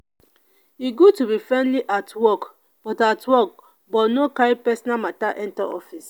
e good to be friendly at work but at work but no carry personal matter enter office.